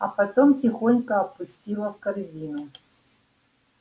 а потом тихонько опустила в корзину